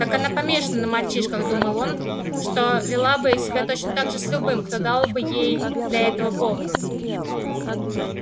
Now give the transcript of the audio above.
так она помешана на мальчишках думал он что вела бы себя точно так же с любым кто дал бы ей для этого повод